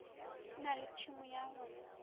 na le tšhemo ya go